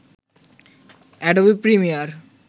Adobe Premiere